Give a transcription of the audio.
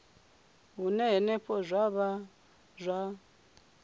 hune henefho zwa vha zwa